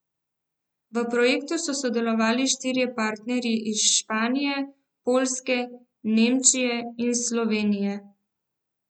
V projektu so sodelovali štirje partnerji iz Španije, Poljske, Nemčije in Slovenije.